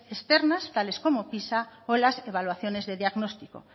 externas tales como pisa o las evaluaciones de diagnóstico